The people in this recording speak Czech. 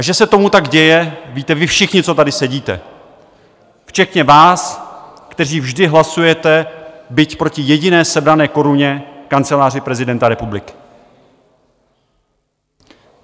A že se tomu tak děje, víte vy všichni, co tady sedíte, včetně vás, kteří vždy hlasujete byť proti jediné sebrané koruně Kanceláři prezidenta republiky.